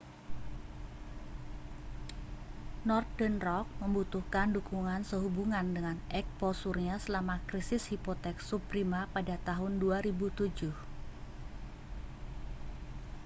northern rock membutuhkan dukungan sehubungan dengan eksposurnya selama krisis hipotek subprima pada tahun 2007